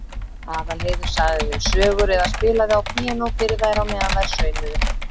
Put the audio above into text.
Aðalheiður sagði þeim sögur eða spilaði á píanó fyrir þær á meðan þær saumuðu.